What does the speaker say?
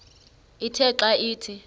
ithe xa ithi